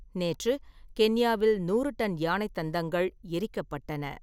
நேற்று, கென்யாவில் நூறு டன் யானை தந்தங்கள் எரிக்கப்பட்டன.